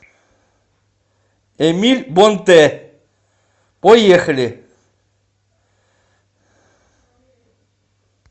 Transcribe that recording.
эмиль бонтэ поехали